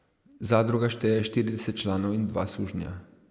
Zadruga šteje štirideset članov in dva sužnja.